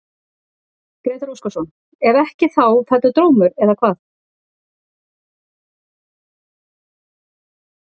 Gísli Óskarsson: Ef ekki þá fellur dómur, eða hvað?